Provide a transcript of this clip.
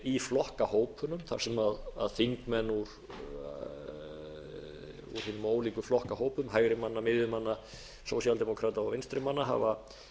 í flokkahópunum þar sem þingmenn úr hinum ólíku flokkahópum hægrimanna miðjumanna sósíaldemókrata og vinstrimanna hafa